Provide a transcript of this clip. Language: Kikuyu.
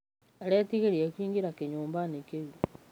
Aretĩĩgĩrĩre kũĩngĩra kĩnyũmbaĩnĩ kĩũ.